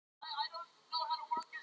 Hvernig standa samningamálin ykkar?